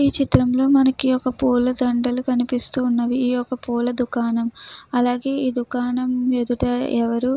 ఈ చిత్రంలో మనకి పూల దండలు కనిపిస్తూ ఉన్నవి. ఇది ఒక పూల దుకాణం. అలాగే ఈ దుకాణం ఎదుట ఎవరు --